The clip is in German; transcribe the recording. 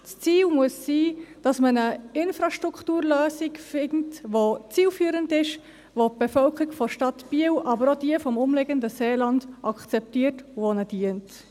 Das Ziel muss es sein, dass man eine Infrastrukturlösung findet, die zielführend ist, welche die Bevölkerung der Stadt Biel, aber auch jene im umliegenden Seeland akzeptiert und welche ihr dient.